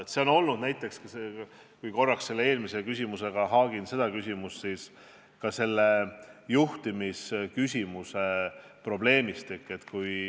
Seda probleemi on olnud ka näiteks – kui praegust küsimust eelmisega haakida – juhtimisteemaga seoses.